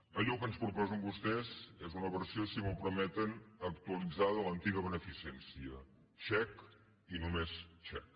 allò que ens proposen vostès és una versió si m’ho permeten actualitzada de l’antiga beneficència xec i només xec